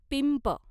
पिंप